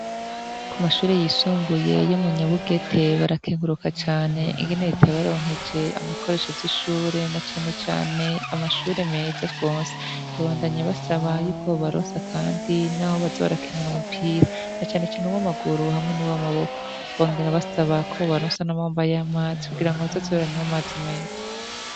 Ku mashure yisumbuye yo munyabugete barakenguruka cane ingene ritaya baronkeje amabikoresho vy'ishure na canecane amashure meza rwonse babandanya basaba yuko babaronsa, kandi, naho baza barakendura umupira na canecaneuwo amaguru hamwe n'uwo amaboko wangera basaba ko babaronsa n'amawmba y'amanzi kugirawo batosiboranywa, maze imeza.